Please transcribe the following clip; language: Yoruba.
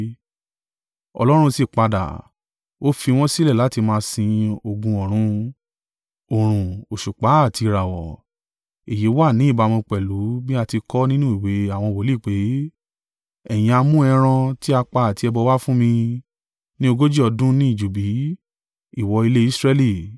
Ọlọ́run sì padà, ó fi wọn sílẹ̀ láti máa sin ogun ọ̀run: òòrùn, òṣùpá àti ìràwọ̀. Èyí wà ní ìbámu pẹ̀lú bí a ti kọ ọ́ nínú ìwé àwọn wòlíì pé: “ ‘Ẹ̀yin ha mú ẹran tí a pa àti ẹbọ wa fún mi ní ogójì ọdún ní ijù bí, ìwọ ilé Israẹli?